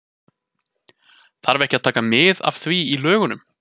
Þarf ekki að taka mið af því í lögunum?